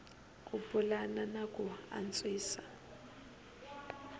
ku pulana na ku antswisa